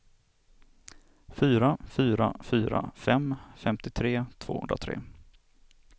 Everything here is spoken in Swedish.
fyra fyra fyra fem femtiotre tvåhundratre